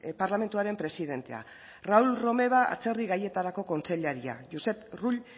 parlamentuaren presidentea raül romeva atzerri gaietarako kontseilaria josep rull